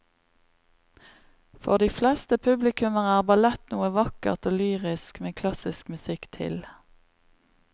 For de fleste publikummere er ballett noe vakkert og lyrisk med klassisk musikk til.